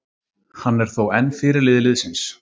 Hann er þó enn fyrirliði liðsins.